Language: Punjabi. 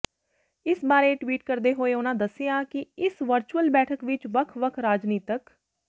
ਇਸ ਬਾਰੇ ਟਵੀਟ ਕਰਦੇ ਹੋਏ ਉਹਨਾਂ ਦੱਸਿਆ ਕਿ ਇਸ ਵਰਚੁਅਲ ਬੈਠਕ ਵਿਚ ਵੱਖ ਵੱਖ ਰਾਜਨੀਤਕ